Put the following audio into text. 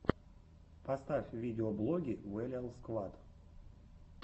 поставь видеоблоги вэлиал сквад